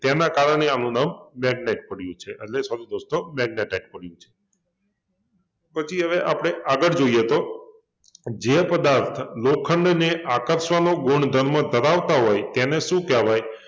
તેના કારણે આનું નામ મેગ્નેટ પડ્યુ છે એટલે સોરે દોસ્તો મેગ્નેટાઈટ પડ્યુ છે પછી હવે આપણે આગળ જોઈએ તો જે પદાર્થ લોખંડને આકર્ષવાનો ગુણધર્મ ધરાવતા હોય એને શું કહેવાય?